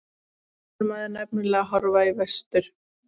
Þá er maður nefnilega að horfa í vestur.